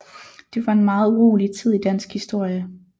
Det var en meget urolig tid i dansk historie